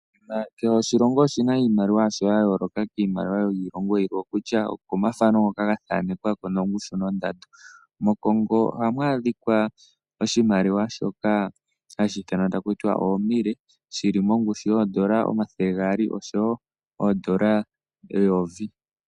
Kehe oshilongo oshina iimaliwa yasho ya yooloka kiimaliwa yiilongo yilwe, okutya okomathano ngoka ga thanekwako nongushu nondando. MoCongo ohamu adhikwa oshimaliwa shoka hashi ithanwa takutiwa oomille shili mongushu yoondola omathele gaali oshowo oondola eyovi.